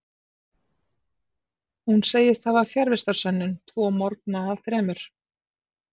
Hún segist hafa fjarvistarsönnun tvo morgna af þremur.